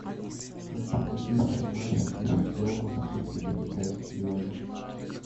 хочу купить шестнадцать тысяч долларов сколько это в китайских юанях